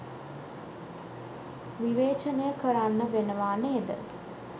විවේචනය කරන්න වෙනවා නේද